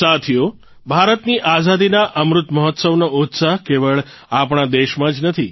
સાથીઓ ભારતની આઝાદીના અમૃત મહોત્સવનો ઉત્સાહ કેવળ આપણા દેશમાં જ નથી